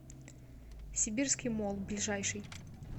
сибирский молл ближайший